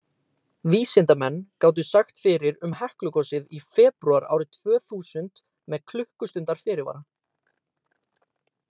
Vísindamenn gátu sagt fyrir um Heklugosið í febrúar árið tvö þúsund með klukkustundar fyrirvara.